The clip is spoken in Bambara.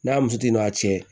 N'a muso tigi n'a cɛ